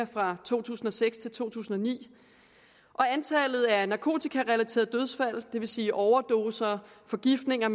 fra to tusind og seks til to tusind og ni og antallet af narkotikarelaterede dødsfald det vil sige overdoser forgiftninger